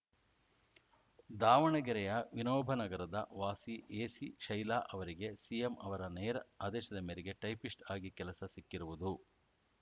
ದಾವಣಗೆರೆಯ ವಿನೋಬನಗರದ ವಾಸಿ ಎಸಿಶೈಲಾ ಅವರಿಗೆ ಸಿಎಂ ಅವರ ನೇರ ಆದೇಶದ ಮೇರೆಗೆ ಟೈಪಿಸ್ಟ್‌ ಆಗಿ ಕೆಲಸ ಸಿಕ್ಕಿರುವುದು